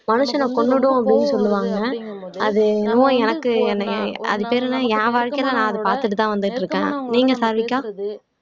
மனுஷனை கொன்னுடும் அப்படின்னு சொல்லுவாங்க அது என்னமோ எனக்கு அது பேர் என்ன என் வாழ்க்கையில நான் அதை பார்த்துட்டுதான் வந்துட்டு இருக்கேன் நீங்க சாருவிக்கா